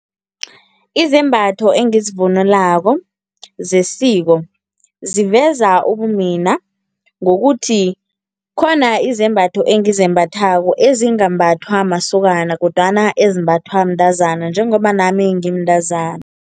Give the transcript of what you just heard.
Izembatho engizivunulako zesiko ziveza ubumina ngokuthi khona izembatho engizembathako ezingambhathwa masokana kodwana ezimbathwa mntazana njengoba nami ngimntazana.